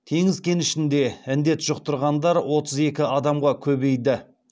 теңіз кенішінде індет жұқтырғандар отыз екі адамға көбейді